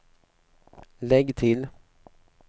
lägg till